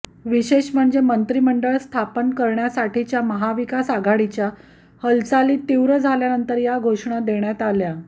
विशेष म्हणजे मंत्रिमंडळ स्थापन करण्यासाठीच्या महाविकास आघाडीच्या हालचाली तीव्र झाल्यानंतर या घोषणा देण्यात आला